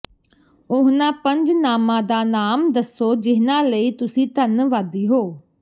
ਉਹਨਾਂ ਪੰਜ ਨਾਮਾਂ ਦਾ ਨਾਮ ਦੱਸੋ ਜਿਨ੍ਹਾਂ ਲਈ ਤੁਸੀਂ ਧੰਨਵਾਦੀ ਹੋ